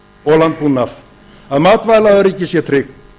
og landbúnað að matvælaöryggið sé tryggt